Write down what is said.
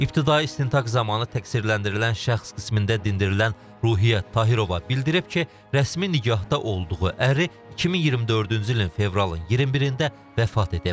İbtidai istintaq zamanı təqsirləndirilən şəxs qismində dindirilən Ruhiyyət Tahirova bildirib ki, rəsmi nikahda olduğu əri 2024-cü ilin fevralın 21-də vəfat edib.